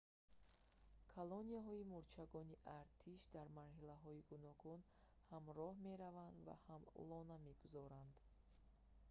колонияҳои мӯрчагони артиш дар марҳилаҳои гуногун ҳам роҳ мераванд ва ҳам лона мегузоранд